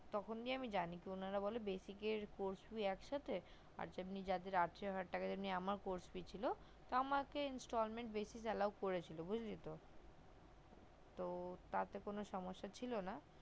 তখনি আমি জানি উনারা বলে basic এর course কি একসাথে আর এমনি যাদের আঠারো হাজার টাকা দিয়ে নেওয়া আমার যে course টা ছিল তো আমাকে installment বেশি allow করেছিল বুজলি তো তো তাতে কোনো সমস্যা ছিল না